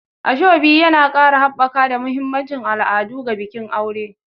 Asoebi yana ƙara haɓaka da mahimmancin al'adu ga bikin aure.